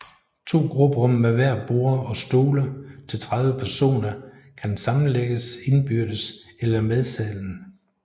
To grupperum med hver borde og stole til 30 personer kan sammelægges indbyrdes eller med salen